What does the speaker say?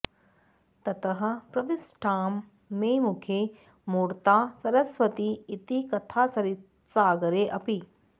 ततः प्रविष्टां मे मुखे मूर्ता सरस्वती इति कथासरित्सागरेऽपि